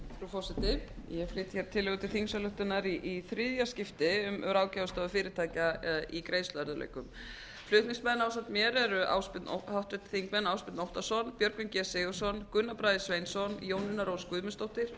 forseti ég flyt hér tillögu til þingsályktunar í þriðja skipti um ráðgjafarstofu fyrirtækja eða í greiðsluerfiðleikum flutningsmenn ásamt mér eru háttvirtir þingmenn ásbjörn óttarsson björgvin g sigurðsson gunnar bragi sveinsson jónína rós guðmundsdóttir